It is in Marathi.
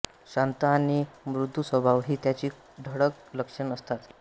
शांत आणि मृदू स्वभाव हि त्याची ठळक लक्षणं असतात